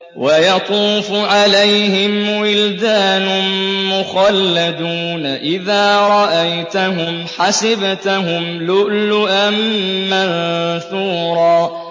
۞ وَيَطُوفُ عَلَيْهِمْ وِلْدَانٌ مُّخَلَّدُونَ إِذَا رَأَيْتَهُمْ حَسِبْتَهُمْ لُؤْلُؤًا مَّنثُورًا